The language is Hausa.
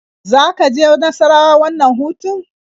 Za ka je Nassarawa wannan hutun?